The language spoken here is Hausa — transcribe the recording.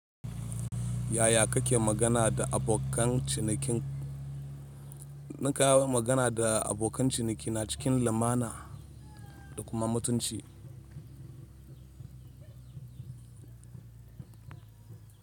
Yaya kake magana da abokan cinikin? Nawa magana da abokan ciniki na cikin lumana da kuma mutunci.